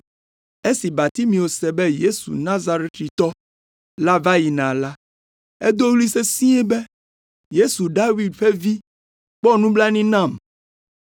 Esi Bartimeo se be Yesu Nazaretitɔ la va yina la, edo ɣli sesĩe be, “Yesu David ƒe Vi, kpɔ nublanui nam!”